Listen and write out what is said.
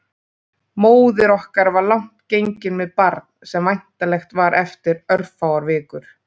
Móðir okkar var langt gengin með barn sem væntanlegt var eftir örfáar vikur.